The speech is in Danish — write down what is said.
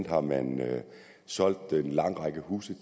har man solgt en lang række huse